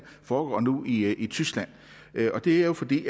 foregår nu i i tyskland og det er jo fordi